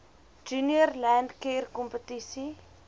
junior landcare kompetisie